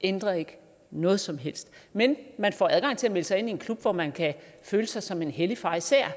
ændrer ikke noget som helst men man får adgang til at melde sig ind i en klub hvor man kan føle sig som en hellig farisæer